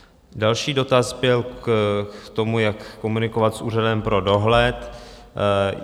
Další dotaz byl k tomu, jak komunikovat s úřadem pro dohled.